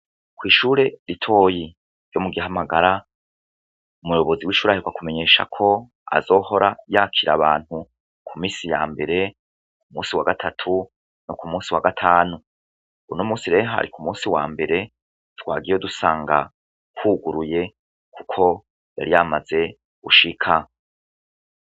Kw'ishure ritoyi ryo mu Gihamagara, umuyobozi w'ishure aheruka kumenyesha ko azohora yakira abantu ku minsi ya mbere, umunsi wa gatatu no ku munsi wa gatanu, uno munsi rero hari ku munsi wa mbere, twagiyeyo dusanga huguruye kuko yari yamaze gushika.